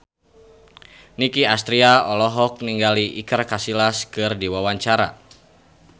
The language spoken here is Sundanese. Nicky Astria olohok ningali Iker Casillas keur diwawancara